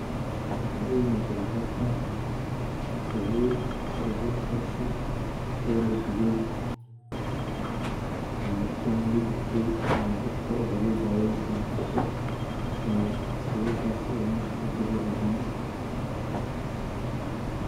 Waxa ii muuqda halkan sabul, sabulkaasi oo ladubay kan wuu gubtay ee dabka aya loo daayey sidan arko ee sabulkaasi oo marki ladubo lacuno